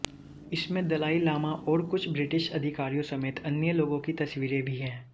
इसमें दलाई लामा और कुछ ब्रिटिश अधिकारियों समेत अन्य लोगों की तस्वीरें भी हैं